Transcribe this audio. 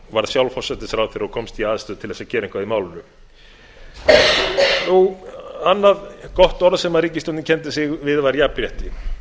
varð sjálf forsætisráðherra og komst í aðstöðu til að gera eitthvað í málinu annað gott orð sem ríkisstjórnin kenndi sig við var jafnrétti